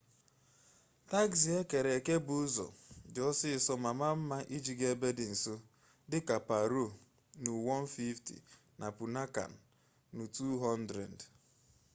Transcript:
tagzi ekere eke bụ ụzọ dị ọsịsọ ma maa mma iji gaa ebe dị nso dịka paro nu 150 na punakha nu 200